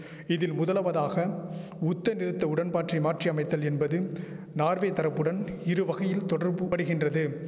இதில் முதலவதாக உத்தநிறுத்த உடன்பாற்றி மாற்றி அமைத்தல் என்பதும் நார்வே தரப்புடன் இரு வகையில் தொடர்புபடுகின்றது